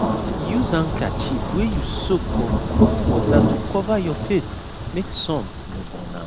use handkerchief wey you soak for cool water to cover your face make sun no burn am